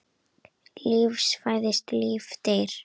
Líf fæðist, líf deyr.